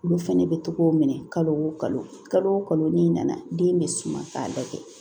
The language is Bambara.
Olu fɛnɛ bɛ togo minɛ kalo o kalo o kalo n'i nana den bɛ suma k'a da kɛ